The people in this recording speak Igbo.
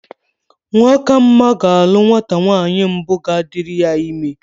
Nwakama ga-alụ nwata nwaanyị mbụ ga-adịrị ya ịme.